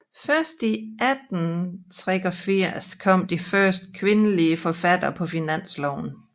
Først i 1883 kom de første kvindelige forfattere på finansloven